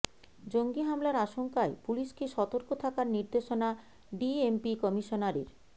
জঙ্গি হামলার আশঙ্কায় পুলিশকে সতর্ক থাকার নির্দেশনা ডিএমপি কমিশনারের